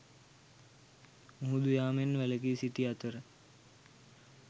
මුහුදු යාමෙන් වැලකි සිටි අතර